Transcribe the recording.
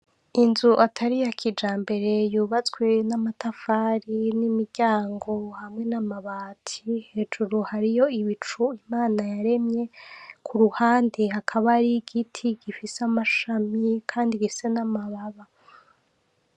Inzu atariya kijambere yubatswe n'amatafari, n'imiryango hamwe n'amabati, hejuru hariyo ibicu Imana yaremye, kuruhande hakaba hariyi Igiti gifise amashami kandi gifise namababa.